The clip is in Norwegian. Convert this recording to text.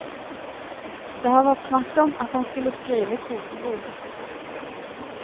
Det har vært snakk om at han skulle skrive kokebok.